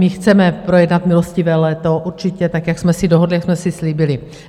My chceme projednat milostivé léto určitě tak, jak jsme si dohodli, jak jsme si slíbili.